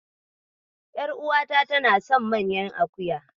Ƴaruwata tana son naman akuya.